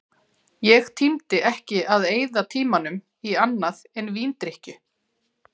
Ég tímdi ekki að eyða tímanum í annað en víndrykkju.